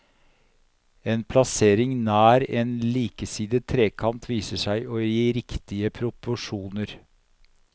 En plassering nær en likesidet trekant viser seg å gi riktige proporsjoner.